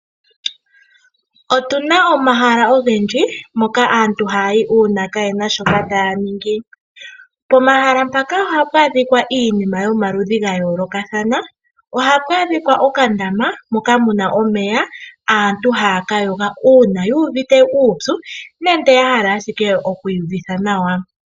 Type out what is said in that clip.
Otuna omahala ogendji moka aantu haya yi uuna kaayena shoka taya ningi. Pomahala mpaka ohapu adhika iinima yomaludhi ga yoolokathana. Oha pu adhika okandama moka mu na omeya aantu haya ka yoga uuna yuuvite uupyu nenge ya hala ashike oku iyuvitha nawa.